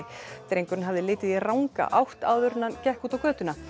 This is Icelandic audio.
drengurinn hafði litið í ranga átt áður en hann gekk út á götuna